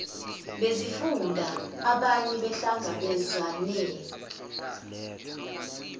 bezifunda abaye bahlangabezane